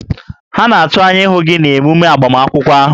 Ha na-atụ anya ịhụ gị na emume agbamakwụkwọ ahụ